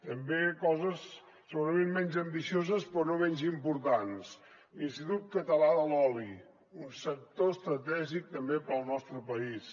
també coses segurament menys ambicioses però no menys importants l’institut català de l’oli un sector estratègic també per al nostre país